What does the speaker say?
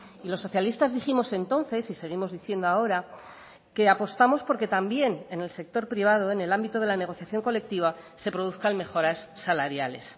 y los socialistas dijimos entonces y seguimos diciendo ahora que apostamos porque también en el sector privado en el ámbito de la negociación colectiva se produzcan mejoras salariales